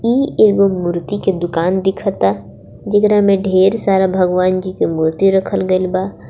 इ एगो मूर्ति के दुकान दिखता जेकारा में ढेर सारा भगवान जी के मूर्ति रखल गइल बा.